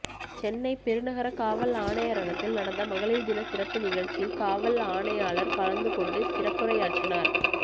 சென்னை பெருநகர காவல் ஆணையரகத்தில் நடந்த மகளிர் தின சிறப்பு நிகழ்ச்சியில் காவல் ஆணையாளர் கலந்து கொண்டு சிறப்புரையாற்றினார்